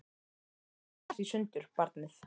Hún er alveg að detta í sundur, barnið.